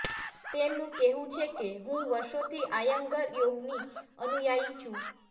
તેમનું કહેવું છે કે હું વર્ષોથી આયંગર યોગની અનુયાયી છું